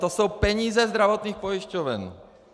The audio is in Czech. To jsou peníze zdravotních pojišťoven.